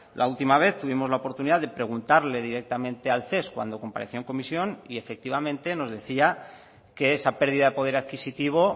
la última vez tuvimos la oportunidad de preguntarle directamente al ces cuando compareció en comisión y efectivamente nos decía que esa pérdida de poder adquisitivo